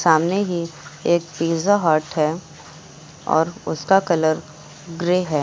सामने ही एक पिज्जा हट है और उसका कलर ग्रे है।